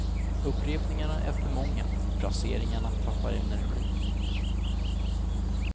Upprepningarna är för många, fraseringarna tappar energi.